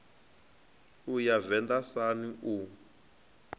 u ya venḓa sun u